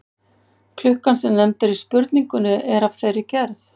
klukkan sem nefnd er í spurningunni er af þeirri gerð